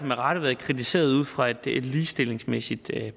med rette været kritiseret ud fra et ligestillingsmæssigt